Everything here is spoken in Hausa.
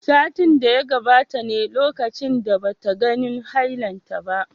Satin da ya gabata ne lokacin da bata ganin hailanta ba